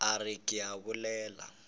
a re ke a bolela